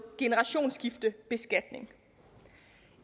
generationsskiftebeskatningen